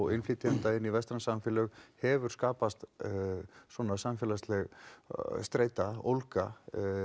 innflytjenda inn í vestræn samfélög hefur skapast svona samfélagsleg streita